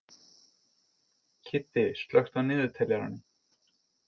Kiddi, slökktu á niðurteljaranum.